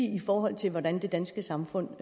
i forhold til hvordan det danske samfund